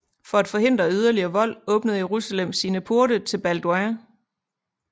For at forhindre yderligere vold åbnede Jerusalem sine porte til Balduin